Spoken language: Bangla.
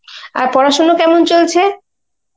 আর পড়াশোনা কেমন চলছে?